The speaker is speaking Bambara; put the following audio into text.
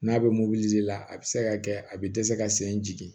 N'a bɛ mobili di a bɛ se ka kɛ a bɛ dɛsɛ ka sen jigin